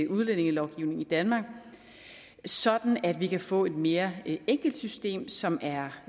udlændingelovgivningen i danmark sådan at vi kan få et mere enkelt system som er